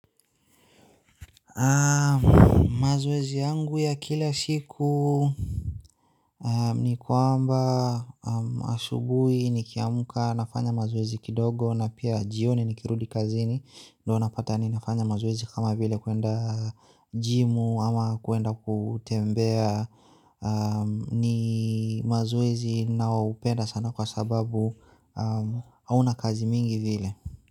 Mazoezi yangu ya kila siku ni kwamba, asubuhi nikiamka nafanya mazoezi kidogo na pia jioni nikirudi kazini ndio napata yaani nafanya mazoezi kama vile kwenda jimu ama kwenda kutembea ni mazoezi ninaoupenda sana kwa sababu hauna kazi mingi vile.